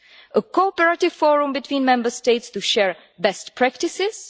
a cooperative forum between Member States to share best practices